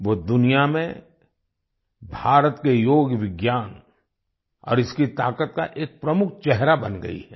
वो दुनिया में भारत के योग विज्ञान और इसकी ताकत का एक प्रमुख चेहरा बन गई हैं